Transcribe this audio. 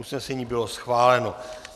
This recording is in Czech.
Usnesení bylo schváleno.